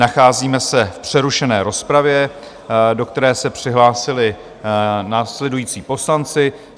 Nacházíme se v přerušené rozpravě, do které se přihlásili následující poslanci.